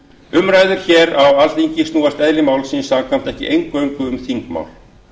umræður hér á alþingi snúast eðli máls samkvæmt ekki eingöngu um þingmál